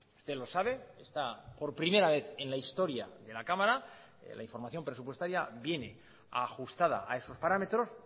usted lo sabe está por primera vez en la historia de la cámara la información presupuestaria viene ajustada a esos parámetros